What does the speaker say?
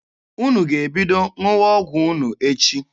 Unu ga-ebido ṅụwa ọgwụ unu echi.